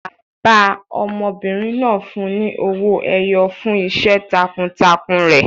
Bàbá ọmọbìnrin náà fún un ní owó ẹyọ fún iṣẹ́ takuntakun rẹ̀.